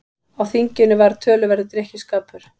Á þinginu var töluverður drykkjuskapur.